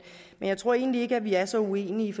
jeg tror egentlig ikke vi er så uenige